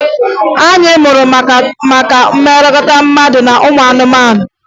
Anyị mụrụ maka mmekọrịta mmadụ na anụmanụ